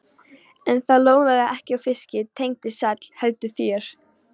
En það lóðaði ekki á fiski, Tengdi sæll, heldur þér.